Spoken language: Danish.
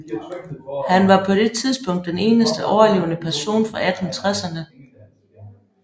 Han var på det tidspunkt den eneste overlevende person fra 1860erne